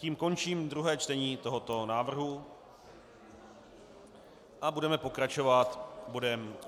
Tím končím druhé čtení tohoto návrhu a budeme pokračovat bodem